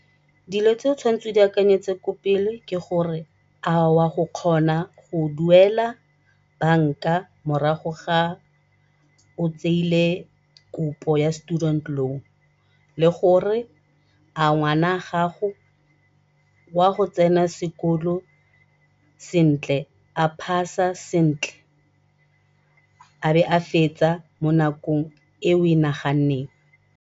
Dilo tse o tshwanetseng o di akanyetse ko pele ke gore a o ya go kgona go duela banka morago ga o tseile kopo ya student loan le gore a ngwana gago o a go tsena sekolo sentle, a pass-a sentle a be a fetsa mo nakong e o e naganneng.